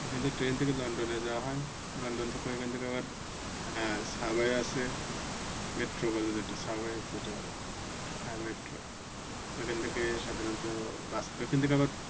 এখান থেকে ট্রেন থেকে লন্ডনে যাওয়া হয় লন্ডন থেকে ঐখান থেকে আবার Subway আছে Metro বলে যেটা Subway যেটা metro ওখান থেকে সাধারণত bus ওখান থেকে আবার